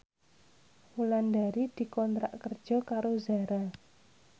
Wulandari dikontrak kerja karo Zara